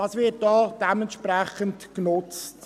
Dies wird auch dementsprechend genutzt.